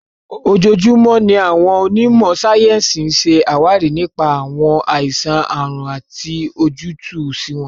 Ojoojúmọ́ ni àwọn onímò sáyẹ́ǹsì ń ṣe àwárí nípa àwọn àìsàn/àrùn àti ojútùú sí wọn.